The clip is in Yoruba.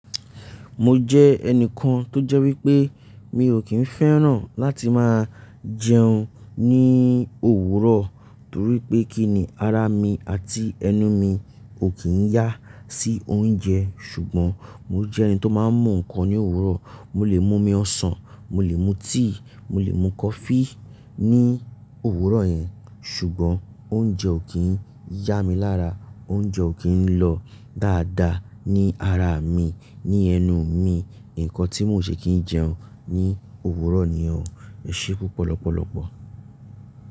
Mo jẹ́ ẹnìkan tó jẹ́ wípé mi ò kí ń fẹ́ràn láti máa jẹun ní òwúrọ̀ torí pé kí ni ara mi àti ẹnu mi ò kí ń yá sí oúnjẹ. Ṣùgbọ́n mo jẹ́ ẹni tó máa ń mú nǹkan ní òwúrọ̀. Mo lè mú omi ọsàn, mo lè mú tíì, mo lè mú coffee ní òwúrọ̀ yẹn. Ṣùgbọ́n oúnjẹ ò kí ń yá mi lára, oúnjẹ ò kí ń lọ dáadáa ní ara mi, ní ẹnu mi. Ǹkan tí mi ò ṣe kí ń jẹun ní òwúrọ̀ nìyẹn o. Ẹ ṣé púpọ̀ lọ́pọ̀lọpọ̀.